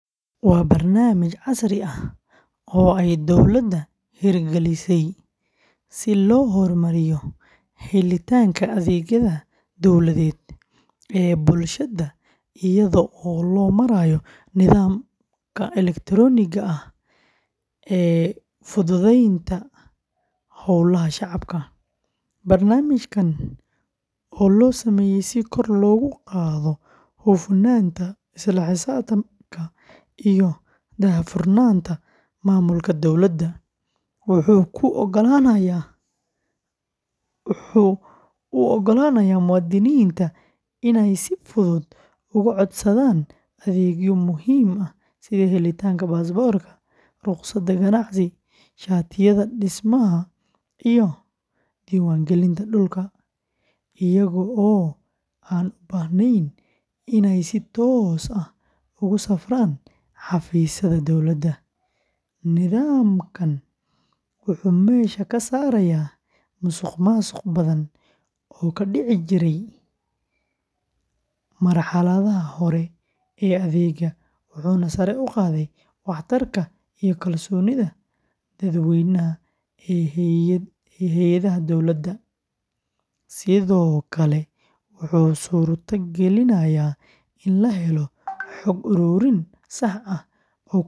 Waa barnaamij casri ah oo ay dawladda hirgelisay si loo hormariyo helitaanka adeegyada dawladeed ee bulshada iyadoo loo marayo nidaamka elektarooniga ah ee fududeynta howlaha shacabka. Barnaamijkan oo loo sameeyay si kor loogu qaado hufnaanta, isla xisaabtanka, iyo daahfurnaanta maamulka dawladda, wuxuu u oggolaanayaa muwaadiniinta inay si fudud uga codsadaan adeegyo muhiim ah sida helitaanka baasaboorka, rukhsadaha ganacsiga, shatiyada dhismaha, iyo diiwaangelinta dhulka, iyaga oo aan u baahnayn inay si toos ah ugu safraan xafiisyada dowladda. Nidaamkan wuxuu meesha ka saarayaa musuqmaasuq badan oo ka dhici jiray marxaladaha hore ee adeegga, wuxuuna sare u qaadaa waxtarka iyo kalsoonida dadweynaha ee hay’adaha dawladda, sidoo kale wuxuu suurto gelinayaa in la helo xog ururin sax ah oo ku saabsan.